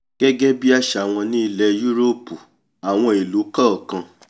gẹ́gẹ́ bí àṣà wọ́n ní ilẹ̀ yúróòpù àwọn ìlú kọ̀ọ̀kan